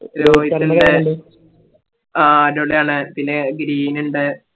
രോഹിത് ഇണ്ട് ആ അടിപൊളിയാണ് പിന്നെ ഗിരിനിണ്ട് ഇവരൊക്കെ അടിപൊളി കളിക്കാരാണ്